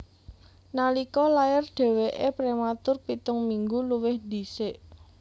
Nalika lair dhèwèké prématur pitung minggu luwih dhisik